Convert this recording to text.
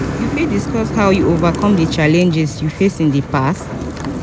you fit discuss how you overcome di challenges you face in di past?